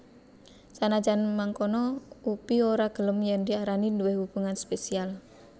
Senajan mangkono Upi ora gelem yen diarani duwé hubungan spesial